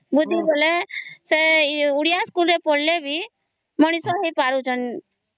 ବୁଦ୍ଧି ବଳରେ ସେ ଓଡ଼ିଆ ସ୍କୁଲ ରେ ପଢିଲେ ବି ମଣିଷ ହେଇ ପାରୁ ଛନ